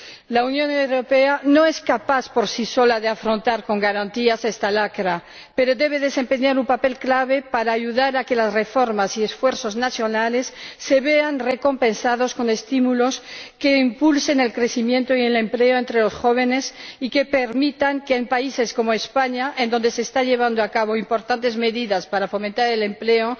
La Unión Europea no es capaz por sí sola de afrontar con garantías esta lacra, pero debe desempeñar un papel clave para ayudar a que las reformas y esfuerzos nacionales se vean recompensados con estímulos que impulsen el crecimiento y el empleo entre los jóvenes, y que permitan que, en países como España, en donde se están llevando a cabo importantes medidas para fomentar el empleo,